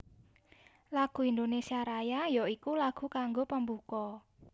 Lagu Indonésia Raya ya iku lagu kanggo pambuka